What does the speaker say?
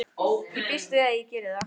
Ég býst við að ég geri það.